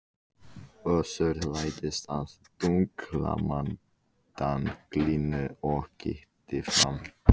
Össur læddist að dinglumdanglinu og kíkti fram.